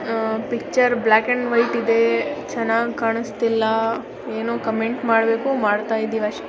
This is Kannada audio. ಹಾ ಪಿಕ್ಚರ್ ಬ್ಲಾಕ್ ಅಂಡ್ ವೈಟ್ ಇದೆ ಚೆನ್ನಾಗ್ ಕಾನ್ಸ್ತಿಲ್ಲ ಏನೋ ಕಾಮೆಂಟ್ ಮಾಡ್ಬೇಕು ಮಾಡ್ತಾ ಇದಿವಿ ಅಷ್ಟೇ .